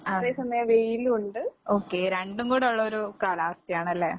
ആഹ്. Okay രണ്ടും കൂടൊള്ളൊരു കാലാവസ്ഥയാണല്ലേ?